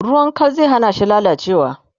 ruwan Kal zai hanashi lallacewa